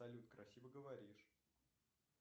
салют красиво говоришь